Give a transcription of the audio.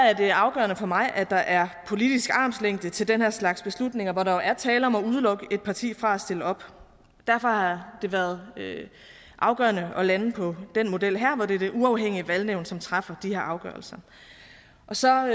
er det afgørende for mig at der er politisk armslængde til den her slags beslutninger hvor der jo er tale om at udelukke et parti fra at stille op derfor har det været afgørende at lande på den model her hvor det er det uafhængige valgnævn som træffer de her afgørelser så